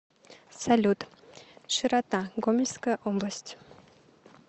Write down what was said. салют широта гомельская область